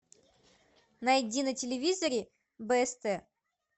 найди на телевизоре бст